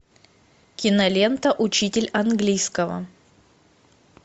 кинолента учитель английского